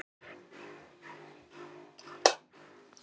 Nístandi sársaukinn kallaði fram tár í augnkrókana.